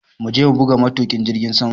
Muje muga matuƙin jirgin saman!